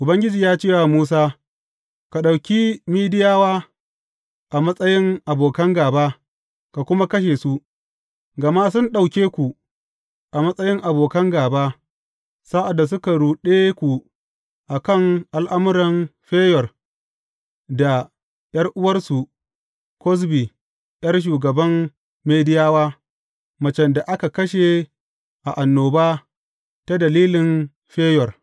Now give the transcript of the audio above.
Ubangiji ya ce wa Musa, Ka ɗauki Midiyawa a matsayin abokan gāba, ka kuma kashe su, gama sun ɗauke ku a matsayin abokan gāba, sa’ad da suka ruɗe ku a kan al’amuran Feyor da ’yar’uwarsu Kozbi ’yar shugaban Midiyawa, macen da aka kashe a annoba ta dalili Feyor.